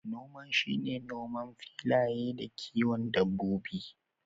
Noma shine noman filaye da kiwon dabbobi.